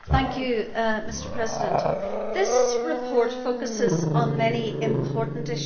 Mr President, this report focuses on many important issues.